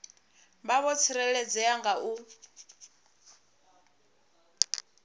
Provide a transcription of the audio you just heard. vha vho tsireledzea nga u